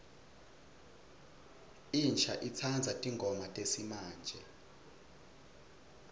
insha itsandza tingoma tesimamje